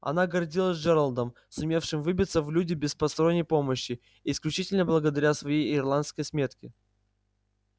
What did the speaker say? она гордилась джералдом сумевшим выбиться в люди без посторонней помощи исключительно благодаря своей ирландской смётке